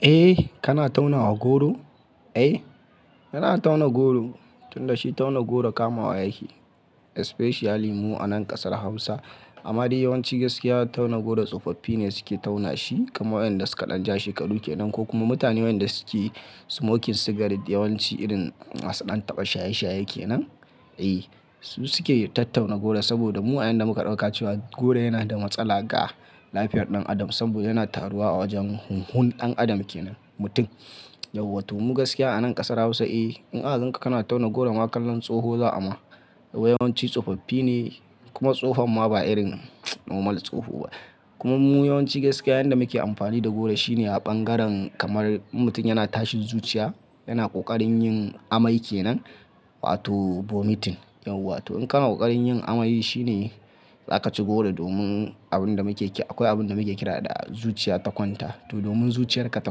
Eh, kana tauna wa goro? Ai, yana tauna goro, tunda shi tauna goro kamawa yake. Especially mu a nan ƙasar Hausa. Amma dai yawanci gaskiya tauna goro tsofaffi ne suke tauna shi, kamar wayanda suka ɗan ja shekaru ke nan ko kuma mutane wayanda suke smoking cigarette. Yawanci irin masu ɗan taɓa shaye-shaye ke nan. Eh, su suke tattauna goro saboda mu wayanda muka ɗauka cewa goro yana da matsala ga lafiyar ɗan adam saboda yana taruwa a wajen hunhun ɗan adam ke nan, mutum. Yau wato mu gaskiya a nan ƙasar Hausa, eh, in aka gan ka kana tauna goro ma kallon tsoho za a ma. Yawanci tsofoffi ne kuma tsohon ma ba irin normal tsoho ba. Kuma mu yawanci gaskiya yanda muke amfani da goro shine a ɓangaren kamar in mutum yana tashin zuciya, yana ƙoƙarin yin amai ke nan, wato vomiting. Yau wato in kana ƙoƙarin yin amai shine za ka ci goro domin abin da muke kira, akwai abin da muke kira da zuciya ta kwanta. To domin zuciyarka ta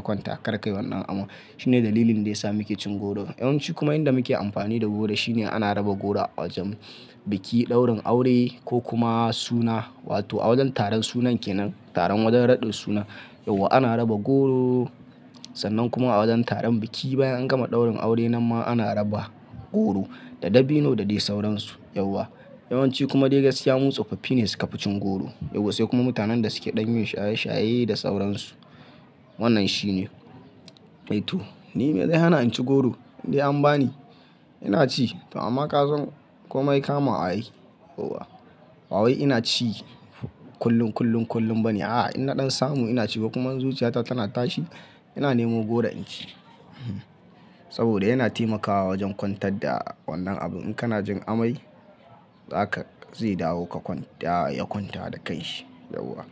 kwanta kar ka yi wannan aman. Shine dalilin da ya sa muke cin goro. Yawanci kuma inda muke amfani da goro shine ana raba goro a wajen biki, ɗaurin aure ko kuma suna wato a wajen taron sunan ke nan, taron wajen raɗin suna. Yawa ana raba goro, sannan kuma a wajen taron biki bayan an gama ɗaurin aure nan ma ana raba goro da dabino da dai sauransu. Yauwa. Yawanci kuma dai gaskiya mu tsofoffi ne suka fi cin goro. Yawa sai kuma mutanen da suke ɗan yin shaye-shaye da sauransu. Wannan shine. Ai to, ni me zai hana in ci goro? Indai an ba ni, ina ci. To amma ka san komai kama a yi. Yauwa. Wa wai ina ci kullum, kullum, kullum ba ne. A'a, in na ɗan samu ina ci ko kuma in zuciyata tana tashi, ina nemo goro in ci. Saboda yana taimakawa wajen kwantar da wannan abun. In kana jin amai, za ka, zai dawo ka ya kwanta da kai shi. Yauwa.